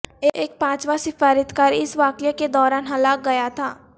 ایک پانچواں سفارتکار اس واقعے کے دوران ہلاک گیا تھا